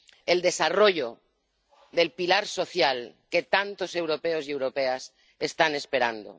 El desarrollo del pilar social que tantos europeos y europeas están esperando.